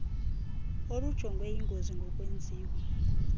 olujongwe yingozi ngokwenziwa